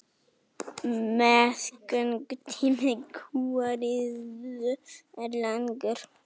Meðgöngutími kúariðu er langur.